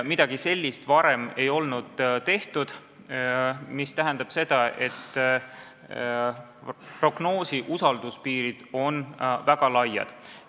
Midagi sellist ei olnud varem tehtud, mis tähendab, et prognoosi usalduspiirid olid väga laiad.